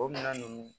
O minɛn nunnu